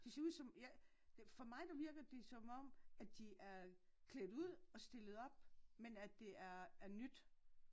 De ser ud som for mig der virker det som om at de er klædt ud og stillet op men at det er er nyt